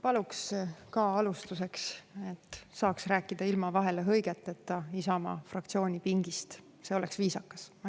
Paluks ka alustuseks, et saaks rääkida ilma vahele hõigeteta Isamaa fraktsiooni pingist, see oleks viisakas.